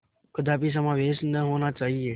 कदापि समावेश न होना चाहिए